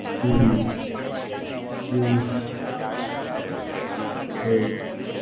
Hmm, hmm, right.